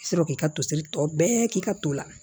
I bɛ sɔrɔ k'i ka toseri tɔ bɛɛ k'i ka to la